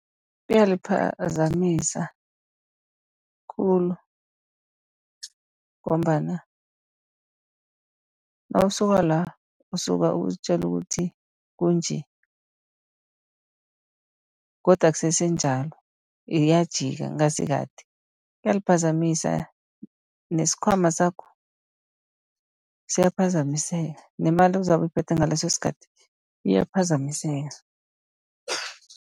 Kuyaliphazamisa khulu, ngombana nawusuka la, usuka uzitjela ukuthi kunje godu akusesenjalo iyajika kungasikade. Kuyaliphazamisa nesikhwama sakho siyaphazamiseka, nemali ozabe uyiphethe ngaleso sikhathi iyaphazamiseka.